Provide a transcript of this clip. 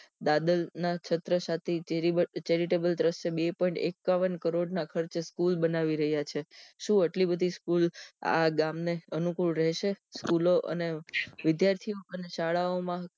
દાદર ના છત્ર સાથે terrible દર્શય બે point એકાવન કરોડ ના ખર્ચે સ્કૂલ બનાવી રહ્યા છે શું આટલી બધી સ્કૂલ આ ગામ ને અનુકુલ રહેશે સ્કૂલો અને વિદ્યાર્થીઓ અને શાળાઓ માં